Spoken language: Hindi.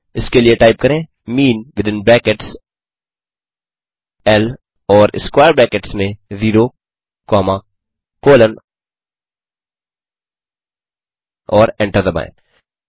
इसके लिए टाइप करें मीन विथिन ब्रैकेट्स ल और स्क्वेयर ब्रैकेट्स में 0 कॉमा कोलोन और एंटर दबाएँ